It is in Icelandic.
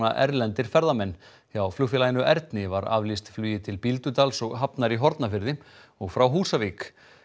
a erlendir ferðamenn hjá flugfélaginu Erni var aflýst flugi til Bíldudals og Hafnar í Hornafirði og frá Húsavík